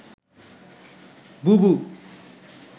বুবু